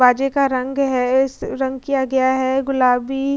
बाजे का रंग है इस रंग किया गया है गुलाबी --